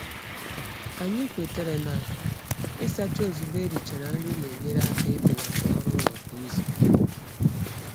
Anyị kwetara na ịsacha ozugbo e richara nri na-enyere aka ibelata ọrụụlọ kwa izu.